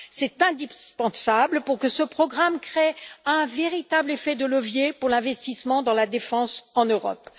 C'est indispensable pour que ce programme crée un véritable effet de levier pour l'investissement dans la défense en Europe.